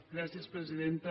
gràcies presidenta